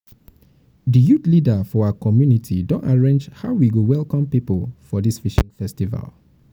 di youth leader for our community don arrange how we go welcome people for dis fishing festival.